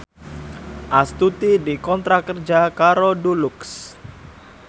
Astuti dikontrak kerja karo Dulux